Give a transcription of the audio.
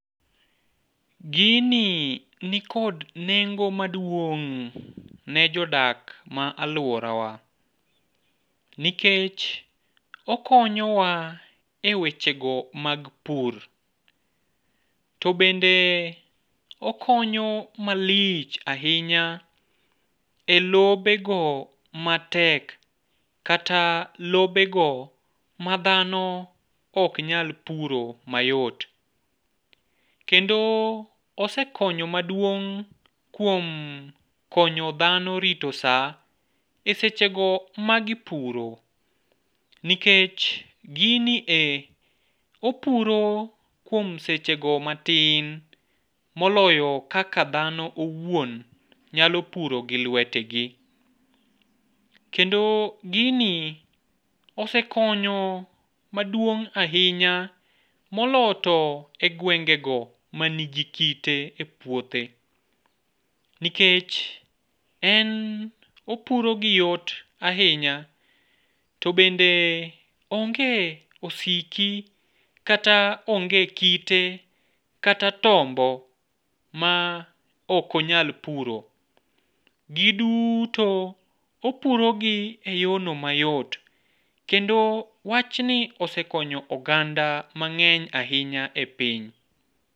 Gini nikod nengo maduong' ne jodak ma alworawa, nikech okonyowa e wechego mag pur, to bende okonyo malich ahinya e lobego matek kata lobego ma dhano ok nyal puro mayot. Kendo osekonyo maduong' kuom konyo dhano rito sa e sechego magipuro, nikech gini e opuro kuom sechego matin moloyo kaka dhano owuon nyalo puro gi lwetgi. Kendo gini osekonyo maduong' ahinya moloyo to e gwengego manigi kite e puothe, nikech en opuro gi yot ahinya to bende onge osiki kata onge kite kata tombo ma ok onyal puro, giduto opurogi e yorno mayot, kendo wachni osekonyo oganda mang'eny ahinya e piny.